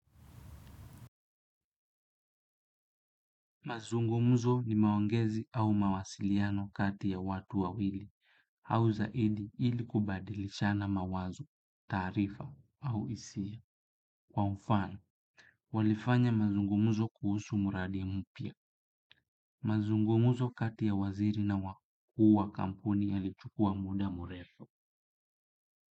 Mazungumuzo ni maongezi au mawasiliano kati ya watu wawili au zaidi ili kubadilishana mawazo, taarifa au hisia. Kwa mfano, walifanya mazungumuzo kuhusu mradi mpya. Mazungumuzo kati ya waziri na wakuu wa kampuni yalichukua muda mrefu.